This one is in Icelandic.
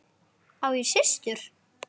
Á ég systur?